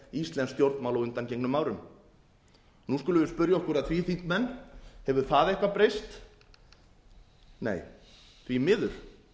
íslensk stjórnmál á undangengnum nú skulum við spyrja okkur að því þingmenn hefur það eitthvað breyst nei því miður